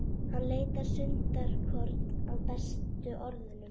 Hann leitar stundarkorn að bestu orðunum.